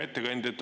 Hea ettekandja!